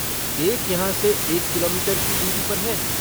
एक यहाँ से एक किलोमीटर की दूरी पर है।